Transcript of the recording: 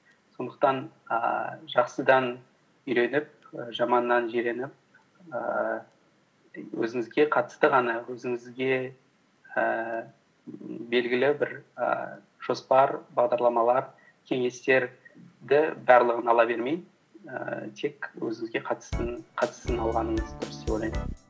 сондықтан ііі жақсыдан үйреніп жаманнан жиреніп ііі өзіңізге қатысты ғана өзіңізге ііі белгілі бір і жоспар бағдарламалар кеңестерді барлығын ала бермей ііі тек өзіңізге қатыстысын алғаныңыз дұрыс деп ойлаймын